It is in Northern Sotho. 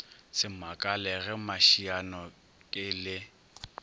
se makale ge mašianoke le